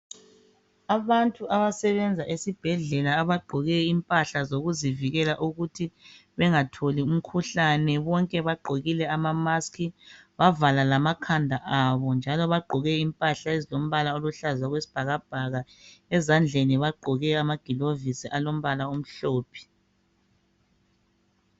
Abantu abasebenza esibhedlela abagqoke impahla zokuzivikela ukuthi bengatholi imkhuhlane, bonke bagqokile ama mask bavala lamakhanda abo njalo bagqoke impahla ezilombala oluhlaza okwesibhakabhaka, ezandleni bagqoke amagilovisi alombala omhlophe.